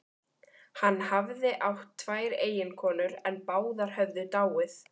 Hann hafði átt tvær eiginkonur en báðar höfðu dáið.